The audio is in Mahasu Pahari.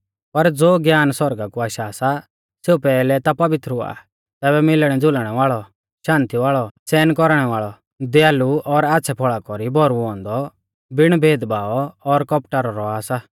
पर ज़ो ज्ञान सौरगा कु आशा सा सेऊ पैहलै ता पवित्र हुआ तैबै मिलणैज़ुलनै वाल़ौ शान्ति वाल़ौ सहन कौरणै वाल़ौ दयालु और आच़्छ़ै फौल़ा कौरी भौरुऔ औन्दौ बिण भेदभाव और कौपटा रौ औआ सा